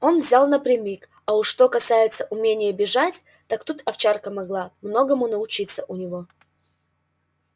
он взял напрямик а уж что касается умения бежать так тут овчарка могла многому научиться у него